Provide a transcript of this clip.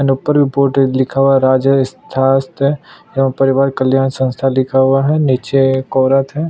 And ऊपर भी board है लिखा हुआ रा स्थान एवं परिवार कल्याण संस्था लिखा हुआ है नीचे एक औरत है।